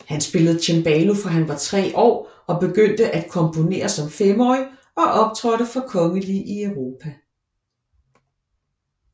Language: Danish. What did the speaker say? Han spillede cembalo fra han var tre år og begyndte at komponere som femårig og optrådte for kongelige i Europa